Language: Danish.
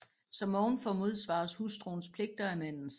Som ovenfor modsvares hustruens pligter af mandens